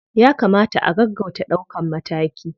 Ya kamata a gaggauta ɗaukan mataki.